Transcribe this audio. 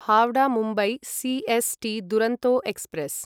Howrah Mumbai C S T Duronto express